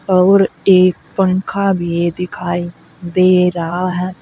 और एक पंखा भी दिखाई दे रहा है।